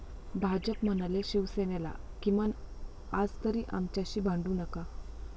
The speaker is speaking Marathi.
भाजप म्हणाले शिवसेनेला, 'किमान आजतरी आमच्याशी भांडू नका'